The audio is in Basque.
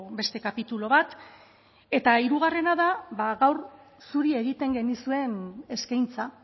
beste kapitulu bat eta hirugarrena da gaur zuri egiten genizuen eskaintza